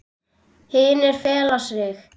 Hinir fela sig.